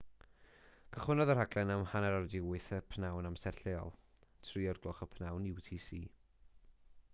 cychwynnodd y rhaglen am 8:30 p.m. amser lleol 15.00 utc